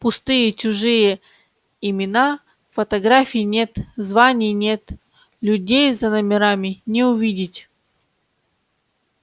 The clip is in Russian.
пустые чужие имена фотографий нет званий нет людей за номерами не увидеть